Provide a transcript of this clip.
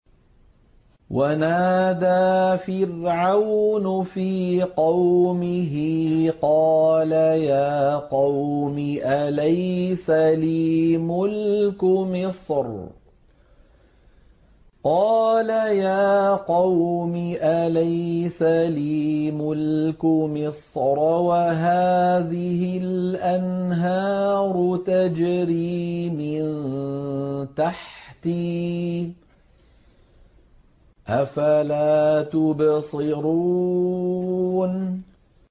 وَنَادَىٰ فِرْعَوْنُ فِي قَوْمِهِ قَالَ يَا قَوْمِ أَلَيْسَ لِي مُلْكُ مِصْرَ وَهَٰذِهِ الْأَنْهَارُ تَجْرِي مِن تَحْتِي ۖ أَفَلَا تُبْصِرُونَ